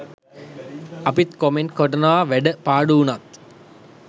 අපිත් කොමෙන්ට් කොටනවා වැඩ පාඩු උනත්.